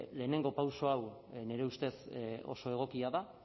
lehenengo pauso hau nire ustez oso egokia da